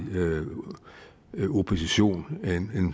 opposition en